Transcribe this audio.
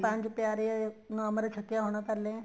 ਪੰਜ ਪਿਆਰੇ ਅਮ੍ਰਿਤ ਛੱਕਿਆ ਹੋਣਾ ਪਹਿਲੇ